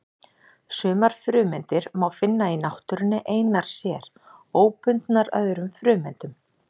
Sumar frumeindir má finna í náttúrunni einar sér, óbundnar öðrum frumeindum.